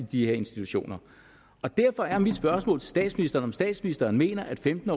de her institutioner derfor er mit spørgsmål til statsministeren om statsministeren mener at femten